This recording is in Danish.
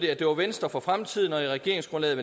at det var venstre for fremtiden og i regeringsgrundlaget